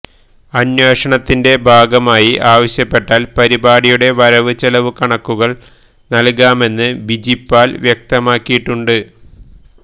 അന്വേഷണത്തിന്റെ ഭാഗമായി ആവശ്യപ്പെട്ടാൽ പരിപാടിയുടെ വരവ് ചെലവു കണക്കുകൾ നൽകാമെന്ന് ബിജിപാൽ വ്യക്തമാക്കിയിട്ടുണ്ട്